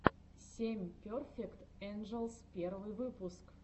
семь перфект энджелс первый выпуск